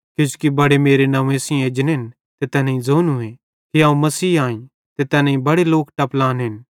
किजोकि बड़े मेरे नंव्वे सेइं एजनेन ते तैनेईं ज़ोनूए कि अवं मसीह आईं ते तैनेईं बड़े लोक टपलानेन